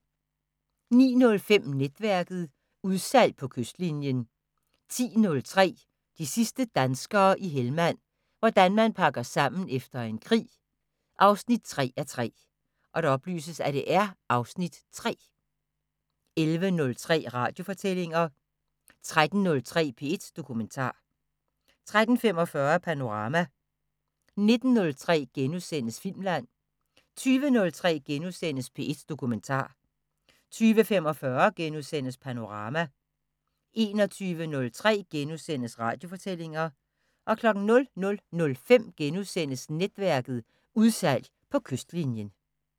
09:05: Netværket: Udsalg på kystlinjen 10:03: De sidste danskere i Helmand – hvordan man pakker sammen efter en krig 3:3 (Afs. 3) 11:03: Radiofortællinger 13:03: P1 Dokumentar 13:45: Panorama 19:03: Filmland * 20:03: P1 Dokumentar * 20:45: Panorama * 21:03: Radiofortællinger * 00:05: Netværket: Udsalg på kystlinjen *